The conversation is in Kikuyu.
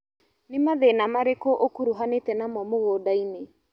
Nĩ mathĩna marĩkũ ũkuruhanĩte namo mũgũndainĩ.